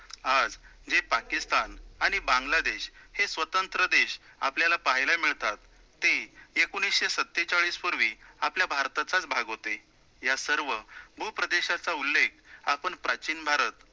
आज जे पाकिस्तान आणि बांगलादेश हे स्वतंत्र देश आपल्याला पाहायला मिळतात, ते एकोणिसशे सत्तेचाळीसपूर्वी आपल्या भारतातचाचं भाग होते, या सर्व भूप्रदेशाचा उल्लेख आपण प्राचीन भारत